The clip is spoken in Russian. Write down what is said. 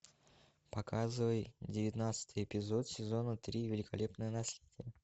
показывай девятнадцатый эпизод сезона три великолепное наследие